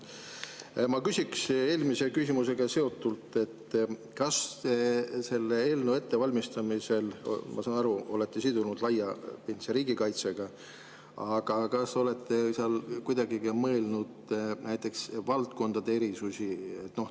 Ma küsiks eelmise küsimusega seotult: kas te selle eelnõu ettevalmistamisel – ma saan aru, te olete selle sidunud laiapindse riigikaitsega – olete kuidagigi mõelnud näiteks valdkondade erisustele?